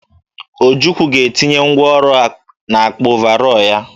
Ojukwu ga-etinye ngwa ọrụ n'akpa ọvarọọr ya.